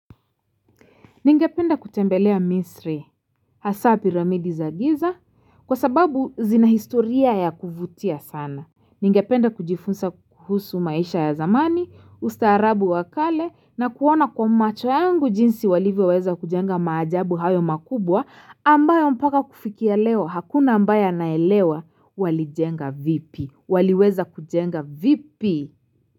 Ningependa kutembelea misri, hasabi ramidi za giza, kwa sababu zina historia ya kuvutia sana. Ningependa kujifunsa kuhusu maisha ya zamani, ustaarabu wakale, na kuona kwa macho yangu jinsi walivyo weza kujenga majabu hayo makubwa, ambayo mpaka kufikia leo, hakuna ambayo anaelewa, walijenga vipi, waliweza kujenga vipi?